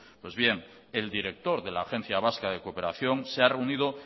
pues bien el director de la agencia vasca de cooperación se ha reunido